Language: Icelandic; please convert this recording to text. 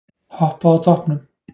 Hoppað á toppnum